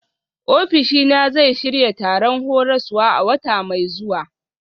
Ofishina zai shirya taron horaswa a wata mai zuwa.